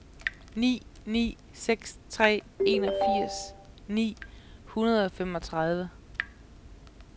ni ni seks tre enogfirs ni hundrede og femogtredive